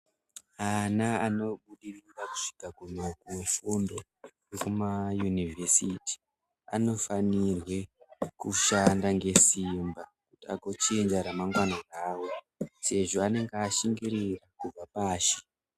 Ana anobudirira kusvika kumifundo yekumayunivhesiti anofanirwe kushanda ngesimba kuti agochinja ramangwana rawo sezvo anenge ashingirira kubva pashi.